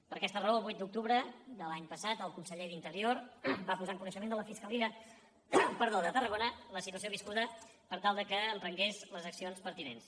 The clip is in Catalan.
per aquesta raó el vuit d’octubre de l’any passat el conseller d’interior va posar en coneixement de la fiscalia de tarragona la situació viscuda per tal que emprengués les accions pertinents